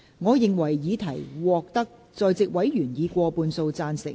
我認為議題獲得在席委員以過半數贊成。